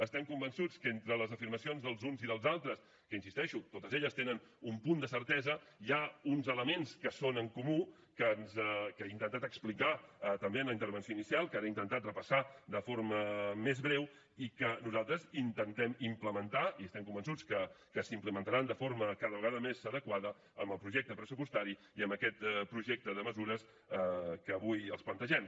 estem convençuts que entre les afirmacions dels uns i dels altres que hi insisteixo totes tenen un punt de certesa hi ha uns elements que són en comú que he intentat explicar també en la intervenció inicial que ara he intentat repassar de forma més breu que nosaltres intentem implementar i estem convençuts que s’implementaran de forma cada vegada més adequada amb el projecte pressupostari i amb aquest projecte de mesures que avui els plantegem